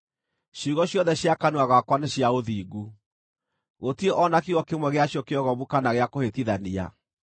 Ciugo ciothe cia kanua gakwa nĩ cia ũthingu; gũtirĩ o na kiugo kĩmwe gĩacio kĩogomu kana gĩa kũhĩtithania.